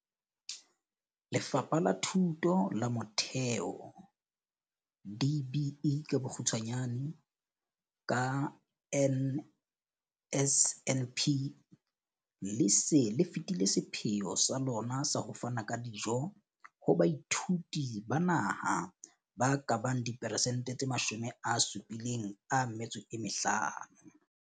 Lefapha la Thuto ya Motheo DBE, ka NSNP, le se le fetile sepheo sa lona sa ho fana ka dijo ho baithuti ba naha ba ka bang diperesentse tse 75.